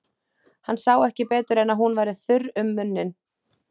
Hann sá ekki betur en að hún væri þurr um munninn.